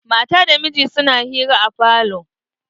Mata da miji suna hira a falo.